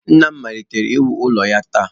Nna m malitere iwu ụlọ ya taa